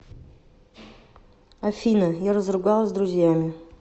афина я разругалась с друзьями